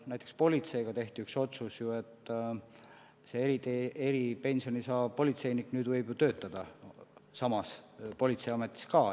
Näiteks tehti üks otsus, et eripensioni saav politseinik nüüd võib ju ka samas politseiametis töötada.